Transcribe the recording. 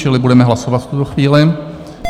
Čili budeme hlasovat v tuto chvíli.